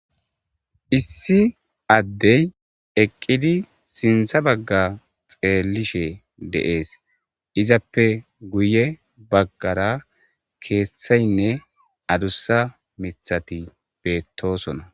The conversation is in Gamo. Issi addey eqqidi sinththa bagga xeelishe de'es izappe guye bagaara keeththaynne adussa miththati beetossonna.